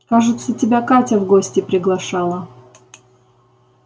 кажется тебя катя в гости приглашала